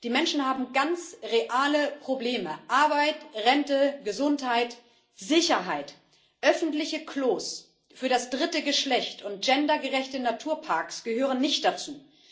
Die Menschen haben ganz reale Probleme Arbeit, Rente, Gesundheit, Sicherheit öffentliche Klos für das dritte Geschlecht und gendergerechte Naturparks gehören nicht dazu.